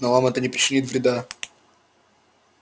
но вам это не причинит вреда